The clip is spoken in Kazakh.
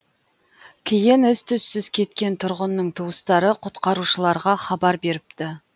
кейін із түссіз кеткен тұрғынның туыстары құтқарушыларға хабар беріпті